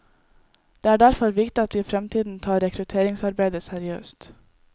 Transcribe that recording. Det er derfor viktig at vi i fremtiden tar rekrutteringsarbeidet seriøst.